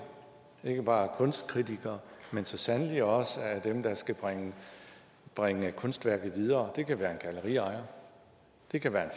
ikke bare af kunstkritikere men så sandelig også af dem der skal bringe bringe kunstværket videre det kan være en galleriejer det kan være en